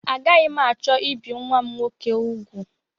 Agaghị m achọ ibi nnwa m nwoke ugwu